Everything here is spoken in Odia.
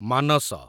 ମାନସ